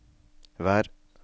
vær